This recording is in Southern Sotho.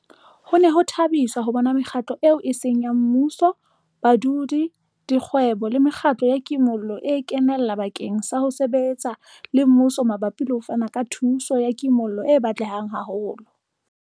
Ho ne ho thabisa ho bona mekgatlo eo e seng ya mmuso, badudi, dikgwebo le mekgatlo ya kimollo e kenella bakeng sa ho sebetsa le mmuso mabapi le ho fana ka thuso ya kimollo e batlehang haholo.